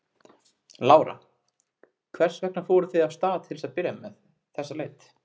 Lára: Hvers vegna fóruð þið af stað til að byrja með með þessa leit?